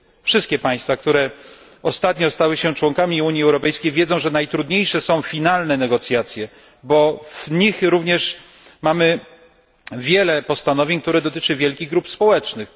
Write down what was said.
Wszystkie państwa, które ostatnio stały się członkami Unii Europejskiej, wiedzą, że najtrudniejsze są finalne negocjacje, bo w nich również mamy wiele postanowień, które dotyczą wielkich grup społecznych.